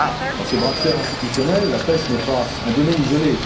Dans ce bras de fer institutionnel, la pêche n'est pas un domaine isolé.